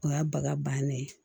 O y'a baga bannen ye